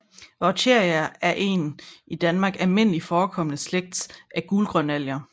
Vaucheria er en i Danmark almindeligt forekommende slægt af gulgrønalger